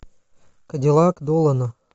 кадиллак долана